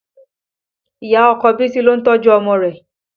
Ìyá ọkọ Bisi lo ń tọ́jú ọmọ rẹ̀